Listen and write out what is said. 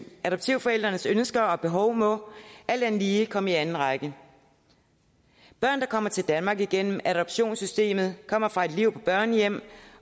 adoptivforældrenes ønsker og behov må alt andet lige komme i anden række børn der kommer til danmark igennem adoptionssystemet kommer fra et liv på børnehjem